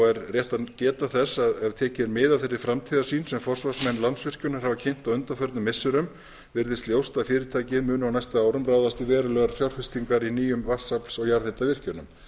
er rétt að geta þess að ef tekið er mið af þeirri framtíðarsýn sem forsvarsmenn landsvirkjunar hafa kynnt á undanförnum missirum virðist ljóst að fyrirtækið muni á næstu árum ráðast í verulegar fjárfestingar í nýjum vatnsafls og jarðhitavirkjunum